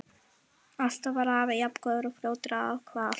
Alltaf var afi jafn góður og fljótur að ákveða allt.